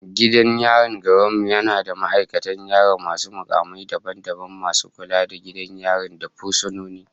Gidan yarin garin mu yana da ma'aikatan yari masu mukamai daban daban, masu kula da gidan yari da fursunoni